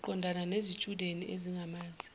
uqondana nezitshudeni ezingamazi